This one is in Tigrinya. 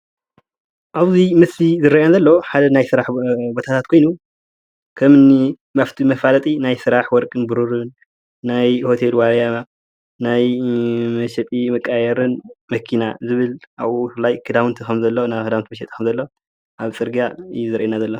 አብዚ ምስሊ ዝርአየኒ ዘሎ ሓደ ናይ ስራሕ ቦታታት ኮይኑ ከም እኒ መፋለጢ ናይ ስራሕ ወርቅን ብሩሩን ናይ ሆቴል ዋልያ ናይ መሸጢ መቀያየሪን መኪና ዝብል አብኡ ብፍላይ ክዳውንቲ ከም ዘሎ ናይ ክዳን መሸጢ ከምዘሎ አብ ፅርግያ እዩ ዘርእየና ዘሎ።